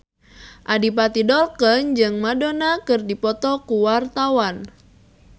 Adipati Dolken jeung Madonna keur dipoto ku wartawan